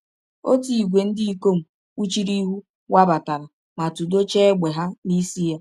Ọtụ ìgwè ndị ikom kpuchiri ihu wabatara ma tụdọchaa égbè ha n’isi ya.